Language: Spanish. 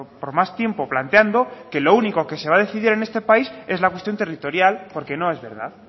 por más tiempo planteando que lo único que se va a decidir en este país es la cuestión territorial porque no es verdad